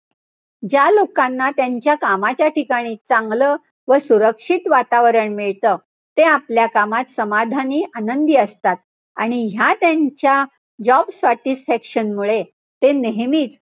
ज्या लोकांना त्यांच्या कामाच्या ठिकाणी चांगलं व सुरक्षित वातावरण मिळतं. ते आपल्या कामात समाधानी, आनंदी असतात. आणि ह्या त्यांच्या job satisfaction मुळे ते नेहमी,